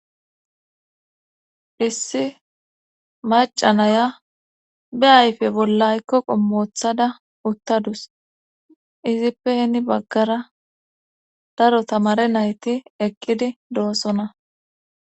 issi macanaya be ayfe bolla aykko qommo woththada uttadus izippeni baggara daro tamare nayti eqqidi doossona